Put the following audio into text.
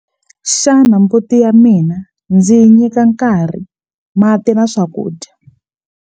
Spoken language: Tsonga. Xana mbuti ya mina ndzi yi nyika nkarhi mati na swakudya?